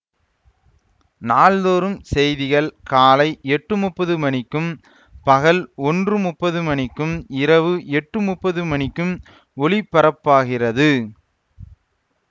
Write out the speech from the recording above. நாள்தோறும் செய்திகள் காலை எட்டு முப்பது மணிக்கும் பகல் ஒன்று முப்பது மணிக்கும் இரவு எட்டு முப்பது மணிக்கும் ஒளிபரப்பாகிறது